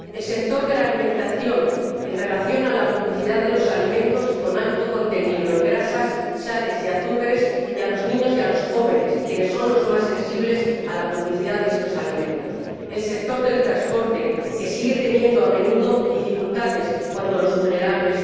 al sector de la alimentación, en relación con la publicidad de los alimentos con alto contenido en grasas, sales y azúcares, informando a los niños y a los jóvenes, quienes son los más sensibles a la publicidad de estos alimentos al sector del transporte, que sigue teniendo a menudo dificultades cuando viajan las personas vulnerables